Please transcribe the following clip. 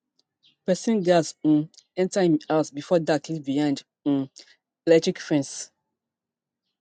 pesin gass um enter im house before dark live behind um electric fence